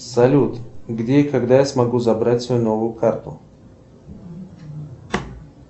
салют где и когда я смогу забрать свою новую карту